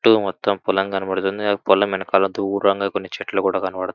చుట్టూ మొత్తం పొలం కనపడుతుంది. ఆ పొలం వెనకాల దూరంగా కొన్ని చెట్లు కూడా కనపడు--